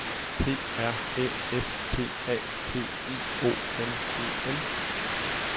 P R Æ S T A T I O N E N